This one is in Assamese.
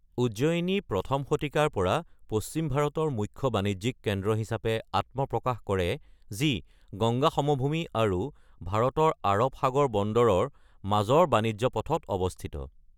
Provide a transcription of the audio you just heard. উজ্জয়িনী প্ৰথম শতিকাৰ পৰা পশ্চিম ভাৰতৰ মুখ্য বাণিজ্যিক কেন্দ্ৰ হিচাপে আত্মপ্ৰকাশ কৰে, যি গঙ্গা সমভূমি আৰু ভাৰতৰ আৰৱ সাগৰ বন্দৰৰ মাজৰ বাণিজ্য পথত অৱস্থিত।